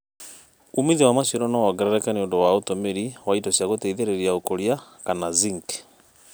ũmĩthĩo wa macĩaro no wongerereke nĩũndũ wa ũtũmĩrĩ wa ĩndo cĩa gũteĩthĩrĩrĩa ũkũrĩa kana zĩnkĩ